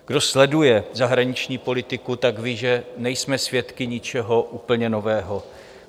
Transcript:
Kdo sleduje zahraniční politiku, tak ví, že nejsme svědky ničeho úplně nového.